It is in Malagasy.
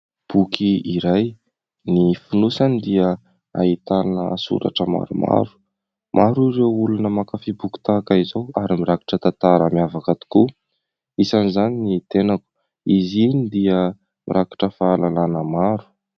Boky iray, ny fonosany dia ahitana soratra maromaro. Maro ireo olona mankafy boky tahaka izao ary mirakitra tantara miavaka tokoa, isan'izany ny tenako, izy iny dia mirakitra fahalalana maro.